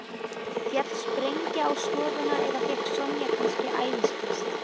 Féll sprengja á stofuna eða fékk Sonja kannski æðiskast?